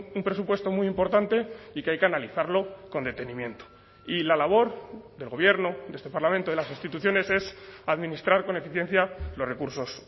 un presupuesto muy importante y que hay que analizarlo con detenimiento y la labor del gobierno de este parlamento de las instituciones es administrar con eficiencia los recursos